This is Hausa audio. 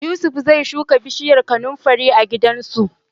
Yusuf zai shuka bishiyar kanunfari a gidansu.